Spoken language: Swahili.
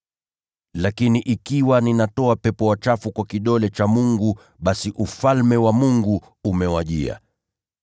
Lakini kama mimi ninatoa pepo wachafu kwa kidole cha Mungu, basi Ufalme wa Mungu umewajia.